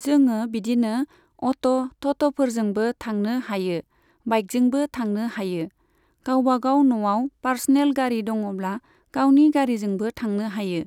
जोङो बिदिनो अट', टट'फोरजोंबो थांनो हायो, बाइकजोंबो थांनो हायो, गावबागाव न'आव पार्सनेल गारि दङब्ला, गावनि गारिजोंबो थांनो हायो।